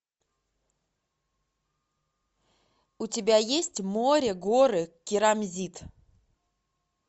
у тебя есть море горы керамзит